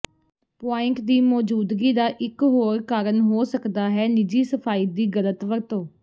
point ਦੀ ਮੌਜੂਦਗੀ ਦਾ ਇੱਕ ਹੋਰ ਕਾਰਨ ਹੋ ਸਕਦਾ ਹੈ ਨਿੱਜੀ ਸਫਾਈ ਦੀ ਗਲਤ ਵਰਤੋਂ